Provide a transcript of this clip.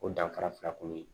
O danfara fila kɔni